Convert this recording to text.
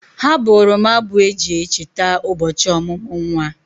Ha bụụrụ m abụ eji e cheta ụbọchị ọmụmụ nwa.